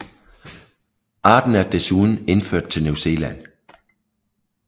Arten er desuden indført til New Zealand